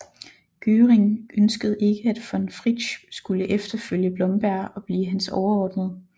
Göring ønskede ikke at von Fritsch skulle efterfølge Blomberg og blive hans overordnede